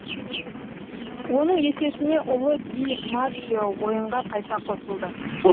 оның есесіне ұлы ди маджио ойынға қайта қосылды